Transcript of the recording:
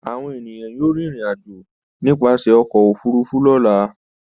Àwọn ènìyàn yóò rìnrìn-àjò nípasẹ̀ ọkọ̀-òfurufú lọ́la.